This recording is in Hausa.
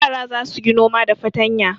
Yara za su yi noma da fatanya.